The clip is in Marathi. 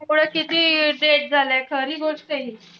हो ना किती झाल्या खरी गोष्टयं हि.